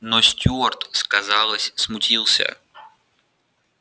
но стюарт сказалось смутился